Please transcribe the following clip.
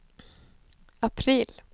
april